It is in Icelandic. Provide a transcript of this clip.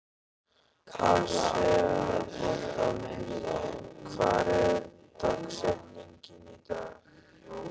Asael, hver er dagsetningin í dag?